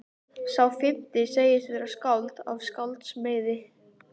Sá fimmti segist vera skáld af skálds meiði.